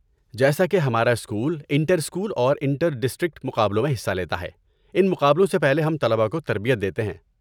جیسا کہ ہمارا اسکول انٹر اسکول اور انٹر ڈسٹرکٹ مقابلوں میں حصہ لیتا ہے، ان مقابلوں سے پہلے ہم طلباء کو تربیت دیتے ہیں۔